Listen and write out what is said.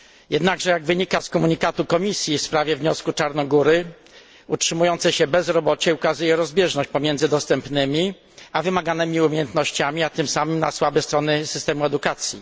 Jednakże, jak wynika z komunikatu Komisji w sprawie wniosku Czarnogóry, utrzymujące się bezrobocie ukazuje rozbieżność pomiędzy dostępnymi, a wymaganymi umiejętnościami, a tym samym słabe strony systemu edukacji.